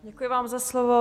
Děkuji vám za slovo.